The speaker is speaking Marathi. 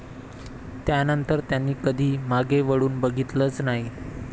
त्यानंतर त्यांनी कधी मागे वळून बघीतलंच नाही.